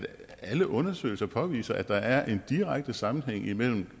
alle undersøgelser påviser at der er en direkte sammenhæng mellem